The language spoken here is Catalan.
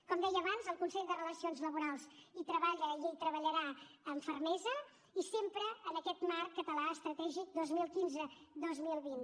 com deia abans el consell de relacions laborals hi treballa i hi treballarà amb fermesa i sempre en aquest marc català estratègic dos mil quinze dos mil vint